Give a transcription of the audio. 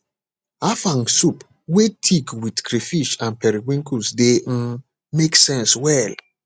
afang soup wey thick with crayfish and periwinkles dey um make sense well